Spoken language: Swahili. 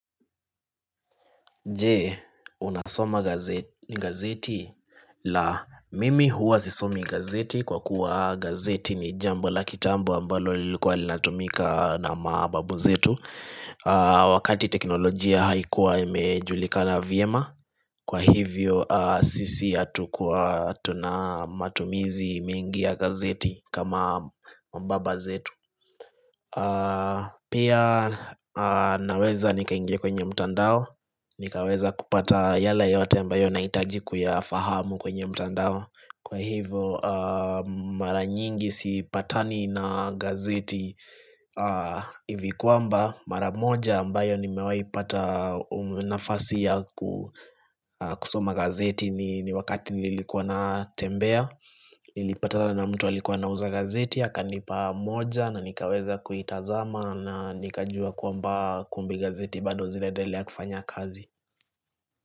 Jee, unasoma gazeti? La, mimi huwa sisomi gazeti kwa kuwa gazeti ni jambo la kitambo ambalo lilikuwa linatumika na mababu zetu Wakati teknolojia haikuwa imejulikana vyema kwa hivyo sisi hatukuwa tunamatumizi mingi ya gazeti kama mababa zetu Pia naweza nikaingia kwenye mtandao nikaweza kupata yale yote ambayo nahitaji kuyafahamu kwenye mtandao Kwa hivo mara nyingi sipatani na gazeti hivi kwamba mara moja ambayo nimewai pata nafasi ya kusoma gazeti ni wakati nilikuwa na tembea Nilipatana mtu aliyekuwa ana uza gazeti akanipa moja na nikaweza kuitazama na nikajua kwamba kumbe gazeti bado zinaendelea kufanya kazi.